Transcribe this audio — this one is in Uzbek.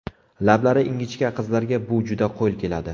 Lablari ingichka qizlarga bu juda qo‘l keladi.